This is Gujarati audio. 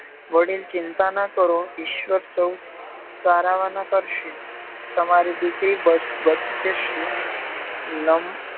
વડીલ ચિંતા ના કારો ઈશ્વર સૌ સારાવાના કરશે તમારી દીકરી બચી જશે